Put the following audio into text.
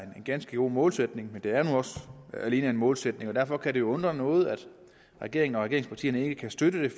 er en ganske god målsætning men det er også alene en målsætning og derfor kan det undre noget at regeringen og regeringspartierne ikke kan støtte det